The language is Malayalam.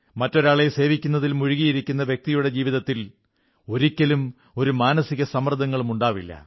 മറ്റൊരാളെ സേവിക്കുന്നതിൽ മുഴുകിയിരിക്കുന്ന വ്യക്തിയുടെ ജീവിതത്തിൽ ഒരിക്കലും ഒരു മാനസിക സമ്മർദ്ദങ്ങളും ഉണ്ടാവില്ല